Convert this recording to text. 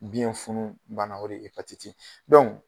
Biɲɛ funu banna o de ye